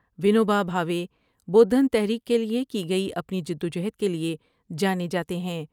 ونو بھا بھاوے بودھن تحریک کیلئے کی گئی اپنی جدوجہد کیلئے جانے جاتے ہیں ۔